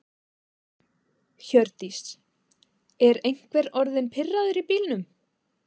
Hjördís: Er einhver orðinn pirraður í bílnum?